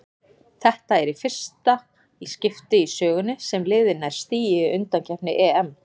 Þetta er fyrsta í skipti í sögunni sem liðið nær stigi í undankeppni EM.